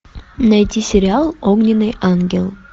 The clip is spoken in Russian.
найти сериал огненный ангел